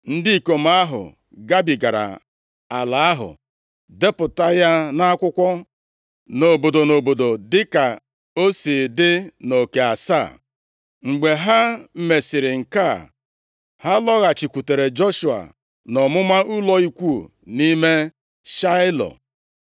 Ndị ikom ahụ gabigara ala ahụ, depụta ya nʼakwụkwọ, nʼobodo nʼobodo dịka o si dị nʼoke asaa. Mgbe ha mesịrị nke a, ha lọghachikwutere Joshua nʼọmụma ụlọ ikwu nʼime Shaịlo.